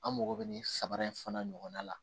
An mago bɛ nin saba in fana ɲɔgɔnna la